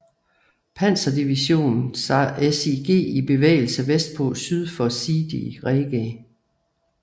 Panzerdivision sig i bevægelse vestpå syd for Sidi Rezegh